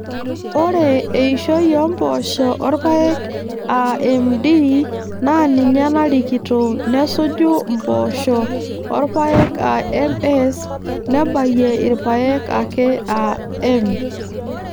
Ore eishoi oompoosho orpaek aa MD naaninye narikito nesuju mpoosho orpaek aa MS nebayie irpaek ake aa M.